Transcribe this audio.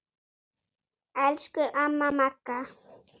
Elsku amma Magga.